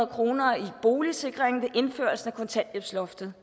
kroner i boligsikring ved indførelsen af kontanthjælpsloftet